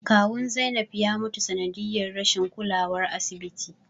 Kawun Zainab ya mutu sanadiyar rashin kulawar asibiti